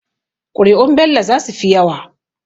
Kuri'un Bello zasu fi yawa.